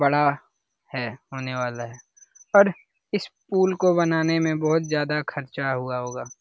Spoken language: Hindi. बड़ा है होने वाला है पर इस पूल को बनाने में बहुत ज्यादा खर्चा हुआ होगा।